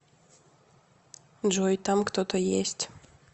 джой там кто то есть